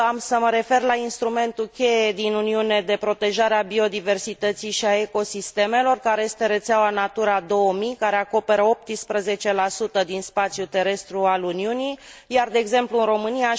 Am să mă refer la instrumentul cheie din Uniune, de protejare a biodiversității și a ecosistemelor, care este rețeaua Natura 2000, care acoperă 18 din spațiul terestru al Uniunii, iar de exemplu în România